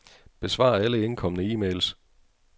Besvar alle indkomne e-mails.